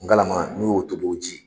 Ngalama n'i y'o tobi o ji.